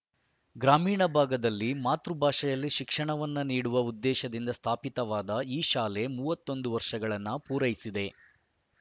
ಗ್ರಾಮೀಣ ಭಾಗದಲ್ಲಿ ಮಾತೃ ಭಾಷೆಯಲ್ಲಿ ಶಿಕ್ಷಣವನ್ನು ನೀಡುವ ಉದ್ದೇಶದಿಂದ ಸ್ಥಾಪಿತವಾದ ಈ ಶಾಲೆ ಮೂವತ್ತ್ ಒಂದು ವರ್ಷಗಳನ್ನು ಪೂರೈಸಿದೆ